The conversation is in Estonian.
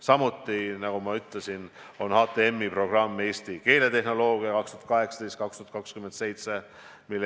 Samuti, nagu ma ütlesin, on HTM-i programm "Eesti keeletehnoloogia 2018–2027".